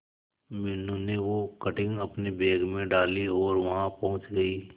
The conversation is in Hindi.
मीनू ने वो कटिंग अपने बैग में डाली और वहां पहुंच गए